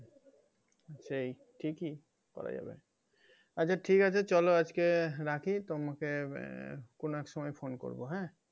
সেই ঠিকই করা যাবে আচ্ছা ঠিক আছে চলো আজকে রাখি তোমাকে আহ কোনো এক সময় phone করবো হ্যাঁ